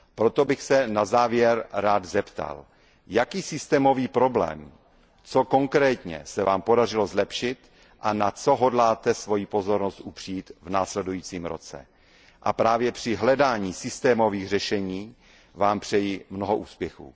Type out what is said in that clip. Proto bych se na závěr rád zeptal, jaký systémový problém, co konkrétně se Vám podařilo zlepšit a na co hodláte svoji pozornost upřít v následujícím roce. A právě při hledání systémových řešení Vám přeji mnoho úspěchů.